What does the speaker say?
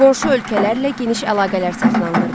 Qonşu ölkələrlə geniş əlaqələr saxlanılırdı.